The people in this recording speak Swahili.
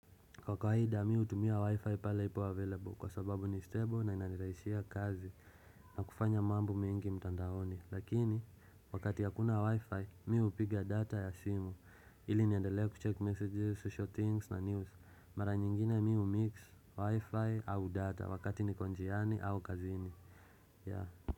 Kwa kawaida mi hutumia wi-fi pale ipo available kwa sababu ni stable na inanditaishia kazi na kufanya mambo mingi mtandaoni lakini wakati hakuna wi-fi mi hupiga data ya simu ili niendelee kucheck messages, social things na news mara nyingine miu mix wi-fi au data wakati ni konjiani au kazini yaa.